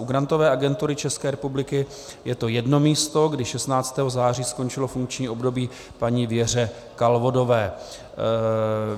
U Grantové agentury České republiky je to jedno místo, kdy 16. září skončilo funkční období paní Věře Kalvodové.